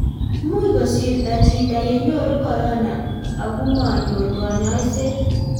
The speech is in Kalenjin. much kosirto chito ye nyoru korona akumanyoru kanyoiset